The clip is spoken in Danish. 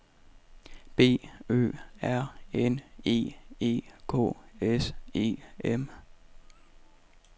B Ø R N E E K S E M